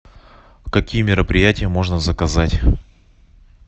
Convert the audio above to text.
какие мероприятия можно заказать